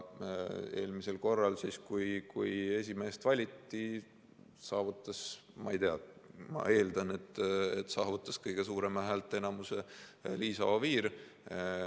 Eelmisel korral, kui esimeest valiti, ma ei tea, aga ma eeldan, et saavutas kõige suurema häälteenamuse Liisa Oviir.